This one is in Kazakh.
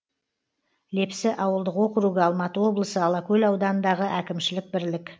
лепсі ауылдық округі алматы облысы алакөл ауданындағы әкімшілік бірлік